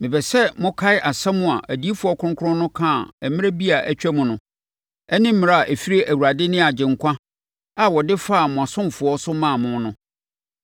Mepɛ sɛ mokae nsɛm a adiyifoɔ kronkron no kaa mmerɛ bi a atwam no ne mmara a ɛfiri Awurade ne Agyenkwa a wɔde faa mo asomafoɔ so maa mo no.